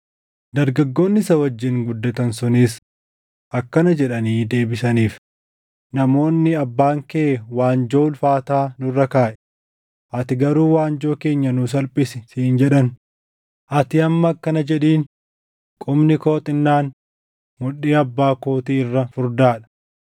Dargaggoonni isa wajjin guddatan sunis akkana jedhanii deebisaniif; “Namoonni, ‘Abbaan kee waanjoo ulfaataa nurra kaaʼe; ati garuu waanjoo keenya nuu salphisi’ siin jedhan; ati amma akkana jedhiin; ‘Qubni koo xinnaan mudhii abbaa kootii irra furdaa dha.